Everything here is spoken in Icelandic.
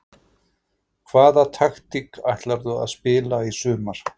Hvaða taktík ætlarðu að spila í sumar?